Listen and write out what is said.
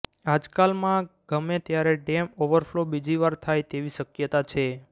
આજકાલમાં ગમે ત્યારે dam overflow બીજી વાર થાય તેવી શક્યતા છે